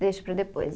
Deixo para depois.